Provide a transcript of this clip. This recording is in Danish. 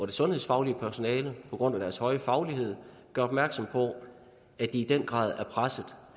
det sundhedsfaglige personale på grund af deres høje faglighed gør opmærksom på at de i den grad er presset